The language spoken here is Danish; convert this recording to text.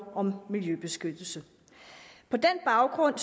om miljøbeskyttelse på den baggrund